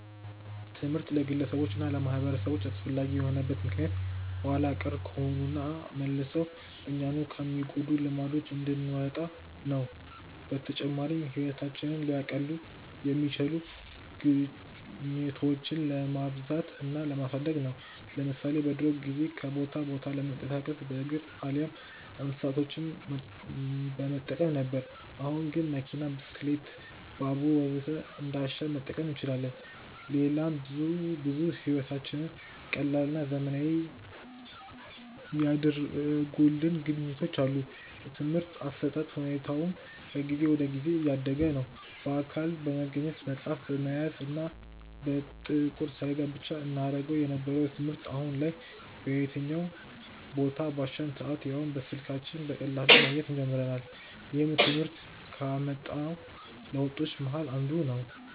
ትምህርት ለግለሰቦች እና ለማህበረሰቦች አስፈላጊ የሆነበት ምክንያት ኋላ ቀር ከሆኑና መልሰው እኛኑ ከሚጎዱን ልማዶች እንድንወጣ ነው። በተጨማሪም ህይወታችንን ሊያቀሉ የሚችሉ ግኝቶችን ለማብዛት እና ለማሳደግ ነው። ለምሳሌ በድሮ ጊዜ ከቦታ ቦታ ለመንቀሳቀስ በእግር አሊያም እንስሳቶችን በመጠቀም ነበር። አሁን ግን መኪና፣ ብስክሌት፣ ባቡር ወዘተ እንዳሻን መጠቀም እንችላለን። ሌላም ብዙ ብዙ ህይወታችንን ቀላልና ዘመናዊ ያደረጉልን ግኝቶች አሉ። የትምርህት አሰጣጥ ሁኔታውም ከጊዜ ወደ ጊዜ እያደገ ነዉ። በአካል በመገኘት፣ መፅሀፍ በመያዝ እና በጥቁር ሰሌዳ ብቻ እናገኘው የነበረውን ትምህርት አሁን ላይ በየትኛውም ቦታ፣ ባሻን ሰአት ያውም በስልካችን በቀላሉ ማግኘት ጀምረናል። ይህም ትምህርት ካመጣው ለውጦች መሀከል አንዱ ነው።